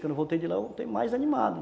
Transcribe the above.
Quando eu voltei de lá, eu voltei mais animado.